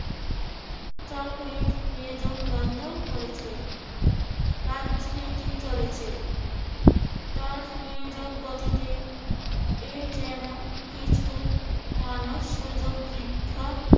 চাকরির নিয়োগ বন্ধ করেছেন। রাজনীতি চলেছে তার নিয়োজন গতিতে এই যেন কিছু মানুষ সুযোগ বৃদ্ধা